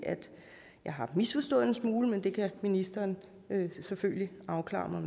har misforstået en smule men det kan ministeren selvfølgelig afklare for